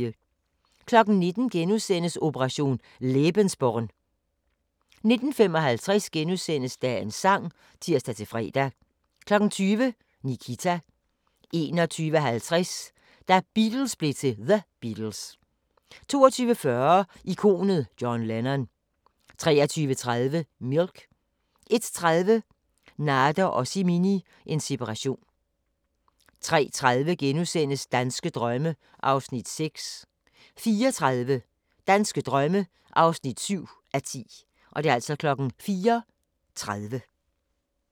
19:00: Operation lebensborn * 19:55: Dagens sang *(tir-fre) 20:00: Nikita 21:50: Da Beatles blev til The Beatles 22:40: Ikonet John Lennon 23:30: Milk 01:30: Nader og Simin – en separation 03:30: Danske drømme (6:10)* 04:30: Danske drømme (7:10)